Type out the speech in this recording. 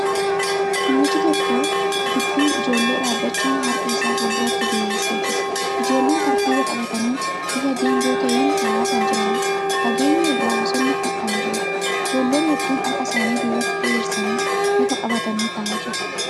Namichi tokko gidduu ijoollee dhaabbachuun harka isaa fuulduratti diriirsee jira. Ijoollen tartiiba qabatanii bifa geengoo ta'een taa'aa kan jiraniidha. Fageenya irraa bosonni kan jiruudha. Ijoollee hedduun harka isaanii duubatti diriirsanii lafa qabatanii taa'aa jiru.